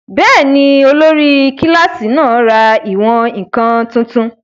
Bẹ́ẹ̀ni, olórí kílásì náà ra ìwọ̀n-ǹkan tuntun